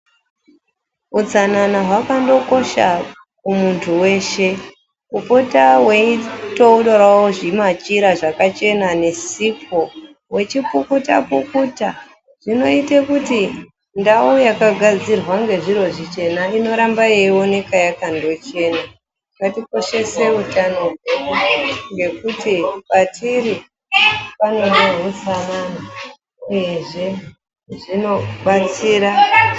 Utsanana hwakando kosha kumuntu weshe kupota weitorawo zvimachira zvakachena nesipo wechipukutapukuta zvinoite kuti ndau yakagadzirwa ngezviro zvichena inoramba yeindooneka yakandochena ngatikoshese utano hwedu nekuti patiri pave nehutsanana uyezve zvinodetsera mundaramo yedu.